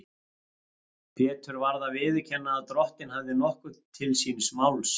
Pétur varð að viðurkenna að Drottinn hafði nokkuð til síns máls.